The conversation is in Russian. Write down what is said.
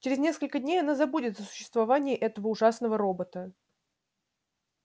через несколько дней она забудет о существовании этого ужасного робота